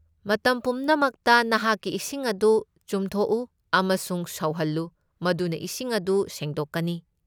ꯃꯇꯝ ꯄꯨꯝꯅꯃꯛꯇ ꯅꯍꯥꯛꯀꯤ ꯏꯁꯤꯡ ꯑꯗꯨ ꯆꯨꯝꯊꯣꯛꯎ ꯑꯃꯁꯨꯡ ꯁꯧꯍꯜꯂꯨ, ꯃꯗꯨꯅ ꯏꯁꯤꯡ ꯑꯗꯨ ꯁꯦꯡꯗꯣꯛꯀꯅꯤ꯫